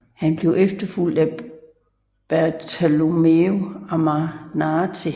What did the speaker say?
Han blev efterfulgt af Bartolommeo Ammanati